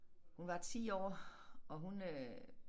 Hun var 10 år og hun øh